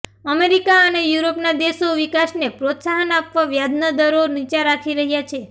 America અને યુરોપના દેશો વિકાસને પ્રોત્સાહન આપવા વ્યાજના દરો નીચા રાખી રહ્યા છે